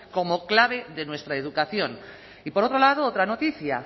como clave de nuestra educación y por otro lado otra noticia